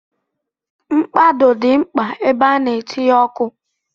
Mkpado dị mkpa ebe a na-etinye ọkụ.